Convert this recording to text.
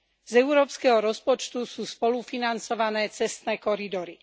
Z európskeho rozpočtu sú spolufinancované cestné koridory.